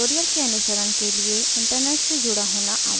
tutorial के अनुसरण के लिए इंटरनेट से जुड़ा होना आवश्यक है